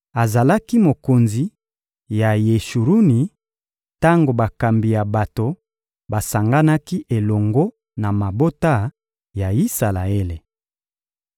Azalaki mokonzi ya Yeshuruni tango bakambi ya bato basanganaki elongo na mabota ya Isalaele.